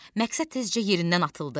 Məqsəd tezcə yerindən atıldı.